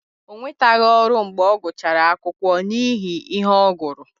Ọ nwetaghị ọrụ mgbe ọ gụchara akwụkwọ n’ihi ihe ọ gụrụ.